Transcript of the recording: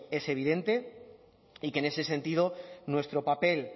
es evidente y que en ese sentido nuestro papel